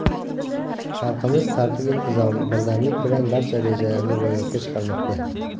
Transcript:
Xalqimiz tartib-intizom, birdamlik bilan barcha rejalarini ro‘yobga chiqarmoqda.